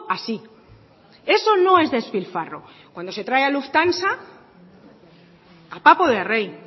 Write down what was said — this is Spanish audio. así eso no es despilfarro cuando se trae a lufthansa a papo de rey